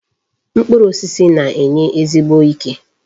Mkpụrụ osisi na-enye ezigbo ike.